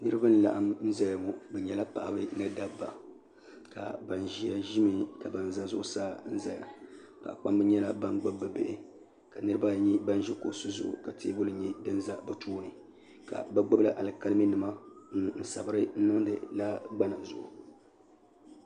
niriba . laɣim zaya ŋɔ be nyɛla paɣ' ba ni dabiba ban ʒɛya ʒɛmi ka kpana tɛbuli nyɛ dini ʒɛ bi tuuni ka be gbabila alikalinima n sabira